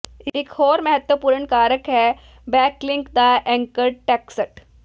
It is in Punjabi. ਇਕ ਹੋਰ ਮਹੱਤਵਪੂਰਣ ਕਾਰਕ ਹੈ ਬੈਕਲਿੰਕ ਦਾ ਐਂਕਰ ਟੈਕਸਟ